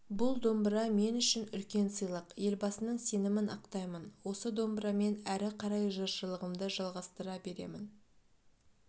бұл домбыра мен үшін үлкен сыйлық елбасының сенімін ақтаймын осы домбырамен әрі қарай жыршылығымды жалғастыра беремін